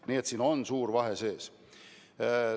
Nii et siin on suur vahe sees.